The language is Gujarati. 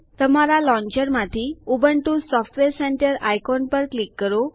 તમારા લોન્ચર માંથી ઉબુન્ટુ સોફ્ટવેર સેન્ટર આઇકોન પર ક્લિક કરો